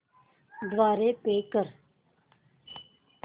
द्वारे पे कर